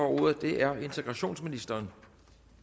ordet er integrationsministeren